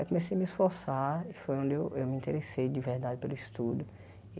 Aí comecei a me esforçar e foi onde eu eu me interessei de verdade pelo estudo.